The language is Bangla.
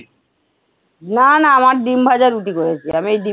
না না আমার ডিম্ ভাজা রুটি করেছি, আমি এই ডিম্